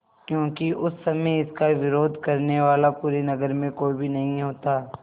क्योंकि उस समय इसका विरोध करने वाला पूरे नगर में कोई भी नहीं होता